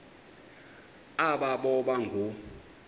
aba boba ngoo